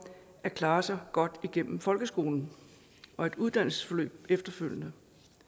at klare sig godt gennem folkeskolen og et uddannelsesforløb efterfølgende